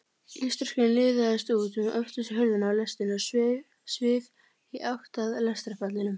Ísdrottningin liðaðist út um öftustu hurðina á lestinni og svif í átt að lestarpallinum.